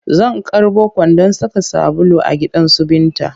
Zan karɓo kwandon saka sabulu a gidansu Binta